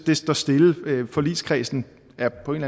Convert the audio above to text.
det står stille forligskredsen er på en